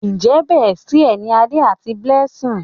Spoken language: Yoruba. Njé bestie ní Ade àti Blessing?